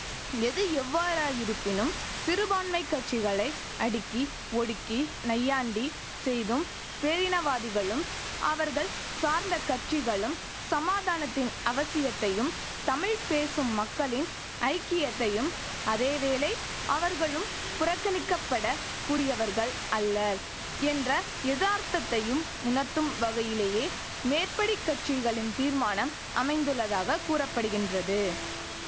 எது எவ்வாறாயிருப்பினும் சிறுபான்மை கட்சிகளை அடுக்கி ஒடுக்கி நையாண்டி செய்தும் பேரினவாதிகளும் அவர்கள் சார்ந்த கட்சிகளும் சமாதானத்தின் அவசியத்தையும் தமிழ் பேசும் மக்களின் ஐக்கியத்தையும் அதேவேளை அவர்களும் புறக்கணிக்க பட கூடியவர்கள் அல்லர் என்ற எதார்த்தத்தையும் உணர்த்தும் வகையிலேயே மேற்படி கட்சிகளின் தீர்மானம் அமைந்துள்ளதாக கூற படுகின்றது